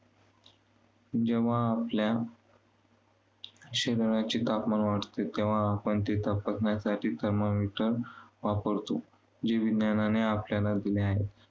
जेव्हा आपल्या शरीराचे तापमान वाढते, तेव्हा आपण ते तपासण्यासाठी thermometer वापरतो. जे विज्ञानाने आपल्याला दिले आहे.